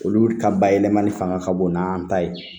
Olu ka bayɛlɛmali fanga ka bon n'an ta ye